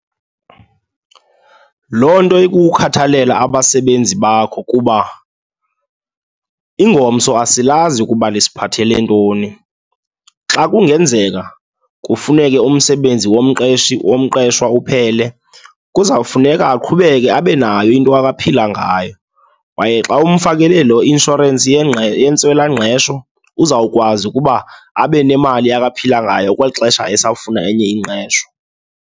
Loo nto ikukhathalela abasebenzi bakho kuba ingomso asilazi ukuba lisiphathele ntoni. Xa kungenzeka kufuneke umsebenzi womqeshi, womqeshwa uphele, kuzawufuneka aqhubeke abe nayo into aphila ngayo kwaye xa umfakele lo inshorensi yentswelangqesho, uzawukwazi ukuba abe nemali aphila ngayo kweli xesha esafuna enye ingqesho.